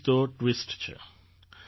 અહીં જ તો ટ્વિસ્ટ છે